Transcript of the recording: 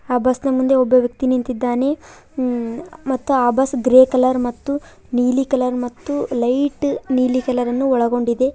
ಆ ಬಸ್ನ ಮುಂದೆ ಒಬ್ಬ ವ್ಯಕ್ತಿ ನಿಂತಿದ್ದಾನೆ ಮ್ಮ್ - ಮತ್ತು ಆ ಬಸ್ ಗ್ರೇ ಕಲರ್ ಮತ್ತು ನೀಲಿ ಕಲರ್ ಮತ್ತು ಲೈಟ್ ನೀಲಿ ಕಲರನ್ನು ಒಳಗೊಂಡಿದೆ.